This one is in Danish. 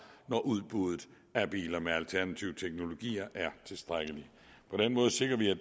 når udbuddet af biler med alternative teknologier er tilstrækkeligt på den måde sikrer vi at